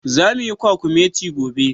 Zamu yi kwakumeti gobe.